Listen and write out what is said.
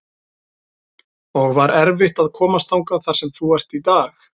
og var erfitt að komast þangað þar sem þú ert í dag?